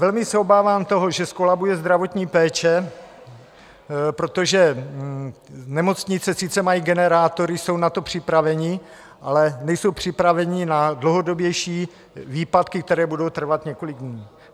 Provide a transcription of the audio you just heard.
Velmi se obávám toho, že zkolabuje zdravotní péče, protože nemocnice sice mají generátory, jsou na to připraveny, ale nejsou připraveny na dlouhodobější výpadky, které budou trvat několik dní.